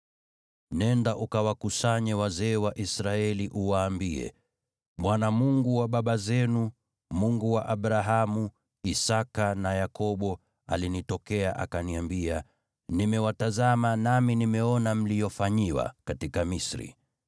“Nenda, ukawakusanye wazee wa Israeli, uwaambie, ‘ Bwana , Mungu wa baba zenu, Mungu wa Abrahamu, Isaki na Yakobo, alinitokea akaniambia: Nimewatazama, nami nimeona mliyofanyiwa katika Misri.